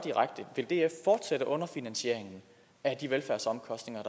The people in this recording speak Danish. vil df fortsætte underfinansieringen af de velfærdsomkostninger